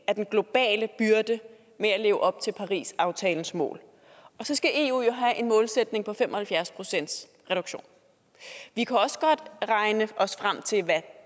af den globale byrde med at leve op til parisaftalens mål så skal eu jo have en målsætning på fem og halvfjerds procent reduktion vi kan også godt regne os frem til hvad